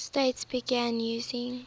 states began using